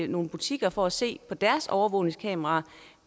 nogle butikker for at se på deres overvågningskameraer